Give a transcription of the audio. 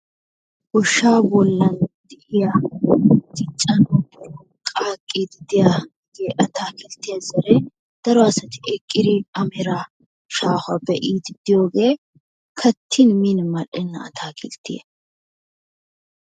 Goshsha bollan de'iyaa diccanawu poqqatiidi diyaa daro asati eqqidi a meraa shaahuwa be'idi de'iyoge kattin min mal''ena atakilttiyaa.